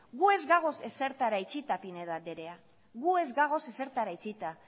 gu ez gagoz ezertara itxita pinedo andrea gu ez gagoz ezertara itxita